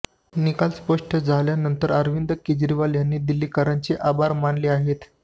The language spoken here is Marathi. निकाल स्पष्ट झाल्यानंतर अरविंद केजरीवाल यांनी दिल्लीकरांचे आभार मानले आहेत